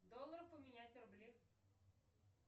доллары поменять на рубли